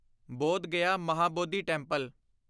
Bodh Gaya Mahabodhi temple